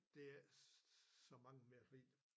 Det ikke så mange mere fordi